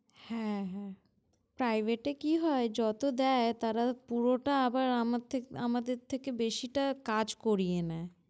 হ্যাঁ হ্যাঁ। Private এ কি হয়, যত দেয় তারা পুরোটা আবার আমার থেক~ আমাদের থেকে বেশিটা কাজ করিয়ে নেয়।